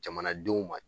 Jamanadenw ma